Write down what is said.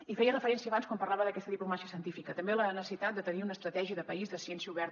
hi feia referència abans quan parlava d’aquesta diplomàcia científica també la necessitat de tenir una estratègia de país de ciència oberta